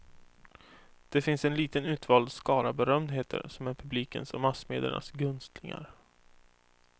Det finns en liten utvald skara berömdheter som är publikens och massmediernas gunstlingar.